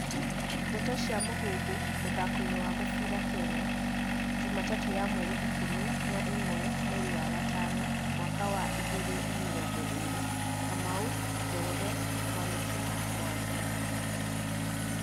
Ndeto cia Mũhuhu, mũthakoini wa mũbĩra Kenya, Jumatatũ ya mweri ikũmi na ĩmwe, mweri wa gatano, mwaka wai igĩrĩ na mĩrongo ĩrĩ: Kamau, Njoroge Mwaniki, Mwangi